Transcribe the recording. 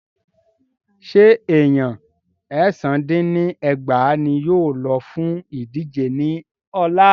Ṣé Èèyan èsán dín ní ẹgbàá ní yóò lọ fún ìdíje ní ọ̀la?